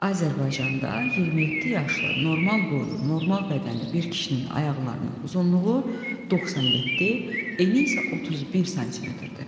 Azərbaycanda 27 yaşlı normal boylu, normal bədənli bir kişinin ayaqlarının uzunluğu 97, eni isə 31 sm-dir.